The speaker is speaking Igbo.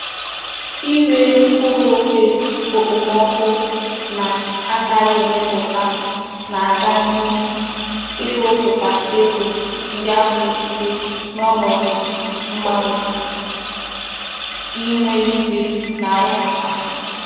Ire mkpuru ofe okpomoku na-anaghi emeputa na-aga n'ihu iroputa ego ndi ahu na-esite n'onodu mgbanwe ihu eluigwe na-auputa.